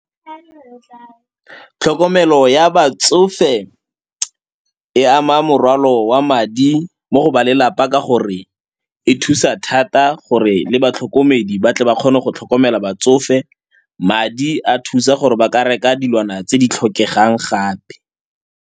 Tlhokomelo ya batsofe e ama morwalo wa madi mo go ba lelapa ka gore e thusa thata gore le batlhokomedi ba tle ba kgone go tlhokomela batsofe. Madi a thusa gore ba ka reka dilwana tse di tlhokegang gape.